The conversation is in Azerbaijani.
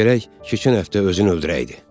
Gərək keçən həftə özün öldürəydi.